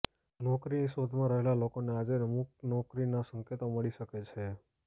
નોકરીની શોધમાં રહેલા લોકોને આજે અમુક નોકરીના સંકેતો મળી શકે છે